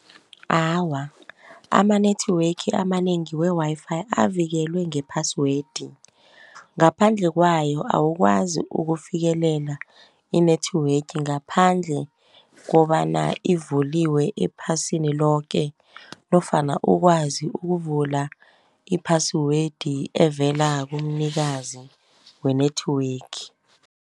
Awa, ama-network amanengi we-Wi-Fi avikelwe ngephasiwedi, ngaphandle kwayo awukwazi ukufikelela i-network ngaphandle kobana ivuliwe ephasini loke nofana ukwazi ukuvula iphasiwedi evela kumnikazi we-network.